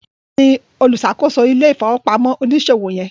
Bola ní oluṣakoso ile-ifowopamọ oniṣòwo yen.